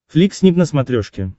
флик снип на смотрешке